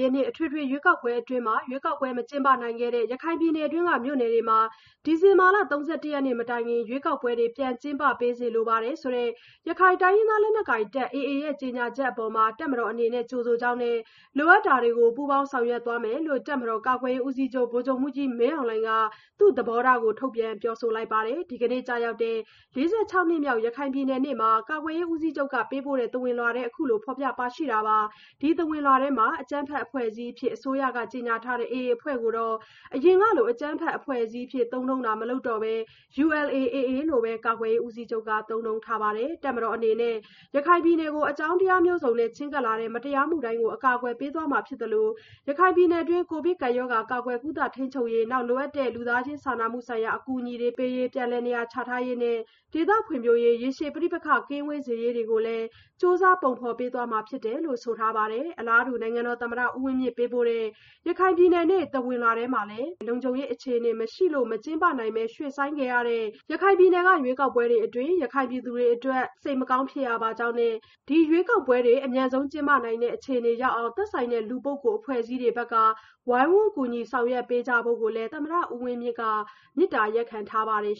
ြည့်နှစ် အထွေထွေရွေးကောက်ပွဲအတွင်း ရွေးကောက်ပွဲ မကျင်းပနိုင်ခဲ့တဲ့ ရခိုင်ပြည်နယ်တွင်းမြို့နယ်တွေမှာ ဒီဇင်ဘာလ ၃၁ ရက်နေ့မတိုင်ခင် ရွေးကောက်ပွဲတွေ ပြန်ကျင်းပပေးစေလိုတယ်ဆိုတဲ့ ရခိုင်တိုင်းရင်းသားလက်နက်ကိုင်တပ် AA ရဲ့ ကြေညာချက်အပေါ် တပ်မတော်အနေနဲ့ ကြိုဆိုကြောင်းနဲ့ လိုအပ်တာတွေကို ပူးပေါင်းဆောင်ရွက်သွားမယ်လို့ တပ်မတော်ကာကွယ်ရေးဦးစီးချုပ် ဗိုလ်ချုပ်မှူးကြီးမင်းအောင်လှိုင်က သူ့သဘောထား ထုတ်ပြန်ပြောဆိုလိုက်ပါတယ်။ ဒီကနေ့ကျရောက်တဲ့ (၄၆) နှစ်မြောက် ရခိုင်ပြည်နယ်နေ့အတွက် ကာကွယ်ရေးဦးစီးချုပ်ကပေးပို့တဲ့ သဝဏ်လွှာထဲမှာ အခုလို ဖော်ပြပါရှိတာပါ။ ဒီသဝဏ်လွှာထဲမှာ အကြမ်းဖက်အဖွဲ့အစည်းအဖြစ် အစိုးရကြေညာထားတဲ့ AA အဖွဲ့ကို အရင်ကလို အကြမ်းဖက်အဖွဲ့အစည်းအဖြစ်သုံးနှုန်းတာ မလုပ်တော့ဘဲ ULA/AA လို့ပဲ ကာကွယ်ရေးဦးစီးချုပ်က သုံးနှုန်းထားပါတယ်။ တပ်မတော်အနေနဲ့ ရခိုင်ပြည်နယ်ကို အကြောင်းတရားမျိုးစုံနဲ့ ချဉ်းကပ်လာတဲ့ မတရားမှုတိုင်းကို အကာကွယ်ပေးသွားမှာဖြစ်သလို ရခိုင်ပြည်နယ်အတွက် ကိုဗစ်ကပ်ရောဂါ ကာကွယ်ကုသ ထိန်းချုပ်ရေး လိုအပ်တဲ့ လူသားချင်းစာနာမှုဆိုင်ရာ အကူအညီတွေ ပြန်လည်နေရာချထားရေးတွေနဲ့ ဒေသဖွံ့ဖြိုးရေး ရေရှည်ပဋိပက္ခ ကင်းဝေးစေရေးတွေကိုလည်း ကြိုးစားပုံဖော်ပေးသွားမှာဖြစ်တယ်လို့လည်း ဆိုထားပါတယ်။ အလားတူနိုင်ငံတော်သမ္မတ ဦးဝင်းမြင့်ပေးပို့တဲ့ ရခိုင်ပြည်နယ်နေ့ သဝဏ်လွှာထဲမှာလည်း လွတ်လပ်ပြီး တရားမျှတမှု ကျင်းပနိုင်တဲ့ လုံခြုံရေးအခြေအနေမရှိလို့ မကျင်းပနိုင်ဘဲ ရွှေ့ဆိုင်းခဲ့ရတဲ့ ရခိုင်ပြည်နယ်က ရွေးကောက်ပွဲအတွက် ရခိုင်ပြည်သူတွေအတွက် စိတ်မကောင်းဖြစ်ရပါကြောင်းနဲ့ ဒီရွေးကောက်ပွဲတွေ အမြန်ဆုံးကျင်းပနိုင်တဲ့အခြေအနေရောက်အောင် သက်ဆိုင်တဲ့လူပုဂ္ဂိုလ် အဖွဲ့အစည်းတွေဘက်က ဝိုင်းဝန်းကူညီဆောင်ရွက်ပေးကြဖို့ကိုလည်း သမ္မတဦးဝင်းမြင့်က မေတ္တာရပ်ခံထားပါတယ်